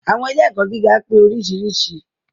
Àwọn ilé ẹ̀kọ́ gíga pé oríṣiríṣi.